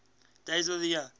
days of the year